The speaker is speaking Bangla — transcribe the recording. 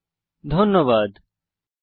এই টিউটোরিয়ালে অংশগ্রহন করার জন্য ধন্যবাদ